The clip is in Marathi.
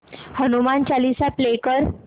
हनुमान चालीसा प्ले कर